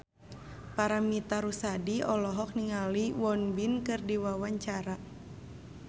Paramitha Rusady olohok ningali Won Bin keur diwawancara